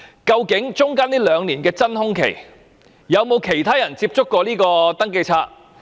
究竟中間兩年的真空期，有否其他人曾接觸登記冊？